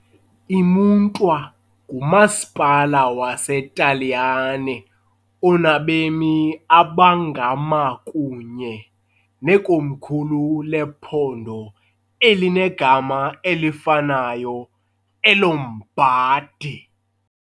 IMantua ngumasipala waseTaliyane onabemi abangama kunye nekomkhulu lephondo elinegama elifanayo eLombardy .